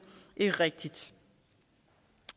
rigtigt